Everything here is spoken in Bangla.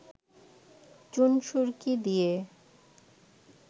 চুন-সুরকি দিয়ে